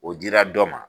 O dira dɔ ma